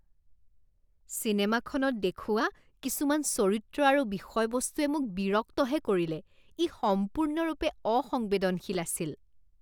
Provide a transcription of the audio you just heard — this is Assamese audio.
চিনেমাখনত দেখুওৱা কিছুমান চৰিত্ৰ আৰু বিষয়বস্তুৱে মোক বিৰক্তহে কৰিলে। ই সম্পূৰ্ণৰূপে অসংবেদনশীল আছিল।